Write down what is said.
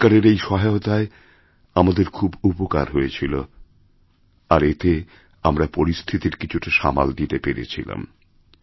সরকারের এই সহায়তায় আমাদের খুব উপকারহয়েছিল আর এতে আমরা পরিস্থিতির কিছুটা সামাল দিতে পেরেছিলাম